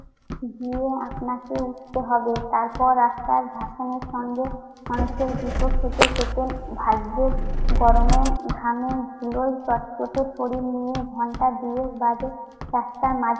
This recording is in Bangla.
গিয়ে আপনাকে উঠতে হবে। তারপর রাস্তার ভাসানের সঙ্গে মানুষের গুঁতো খেতে খেতে ভাগ্যের গরমে ঘামে ধুলোয় চটচটে শরীর নিয়ে ঘণ্টা দুয়েক বাদে রাস্তার মাঝ